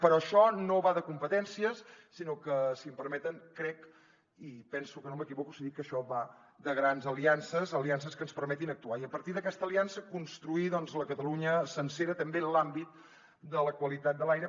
però això no va de competències sinó que si m’ho permeten penso que no m’equivoco si dic que això va de grans aliances aliances que ens permetin actuar i a partir d’aquesta aliança construir la catalunya sencera també en l’àmbit de la qualitat de l’aire